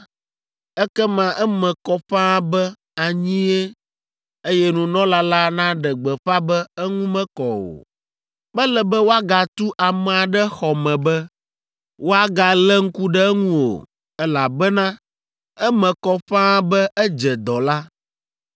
ekema eme kɔ ƒãa be anyie, eye nunɔla la naɖe gbeƒã be eŋu mekɔ o. Mele be woagatu amea ɖe xɔ me be woagalé ŋku ɖe eŋu o, elabena eme kɔ ƒãa be edze dɔ la.